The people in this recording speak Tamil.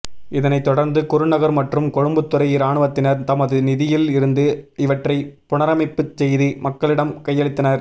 இதனைத் தொடர்ந்து குருநகர் மற்றும் கொழும்புத்துறை இராணுவத்தினர் தமது நிதியில் இருந்து இவற்றை புனரைமைப்பு செய்து மக்களிடம் கையளித்தனர்